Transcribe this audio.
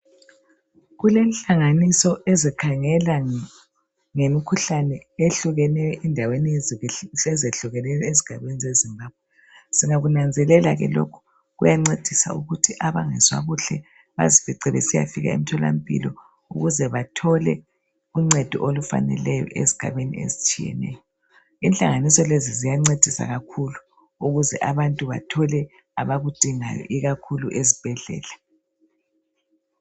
Kulenhlanganiso ezikhangela ngemikhuhlane eyehlukeneyo , endaweni ezehlukeneyo, ezigabeni zeZimbabwe. Singakunanzelela ke lokho, kuyancedisa ukuthi abangezwa kuhle, bazifice besiyafika emtholampilo ukuze bathole uncedo olufaneleyo, ezigabeni ezitshiyeneyo. Inhlanganiso lezi ziyancedisa kakhulu ukuze abantu bathole abakudingayo, ikakhulu ezibhedlela.